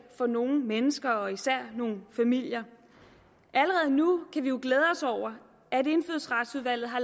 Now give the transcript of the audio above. for nogle mennesker og især nogle familier allerede nu kan vi jo glæde os over at indfødsretsudvalget har